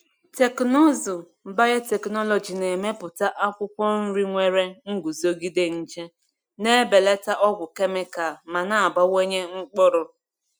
Teknụzụ biotechnology na-emepụta akwụkwọ nri nwere nguzogide nje, na-ebelata ọgwụ kemikal ma na-abawanye mkpụrụ.